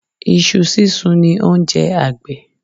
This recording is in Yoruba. Iṣu sísun ni oúnjẹ agbẹ̀